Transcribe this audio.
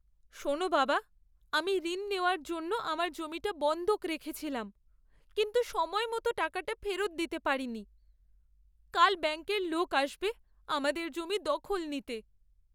শোন বাবা, আমি ঋণ নেওয়ার জন্য আমার জমিটা বন্ধক রেখেছিলাম, কিন্তু সময়মত টাকাটা ফেরত দিতে পারিনি। কাল ব্যাঙ্কের লোক আসবে আমাদের জমির দখল নিতে।